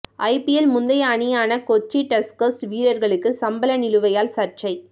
IPL முந்தைய அணியான Kochi Tuskers வீர்ர்களுக்கு சம்பள நிலுவையால் சர்ச்சை